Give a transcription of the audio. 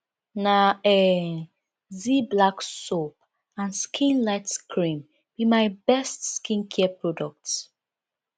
um na um zee black soap and skin light cream be my best skincare products